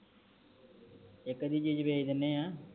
ਇਕ ਅੱਧੀ ਚੀਜ ਵੇਚ ਦੇਣੇ ਆ